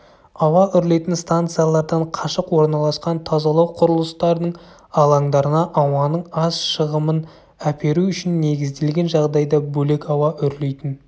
ауа үрлейтін станциялардан қашық орналасқан тазалау құрылыстарының алаңдарына ауаның аз шығымын әперу үшін негізделген жағдайда бөлек ауа үрлейтін